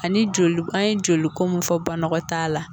Ani joli an ye joliko mun fɔ banakɔtaa la.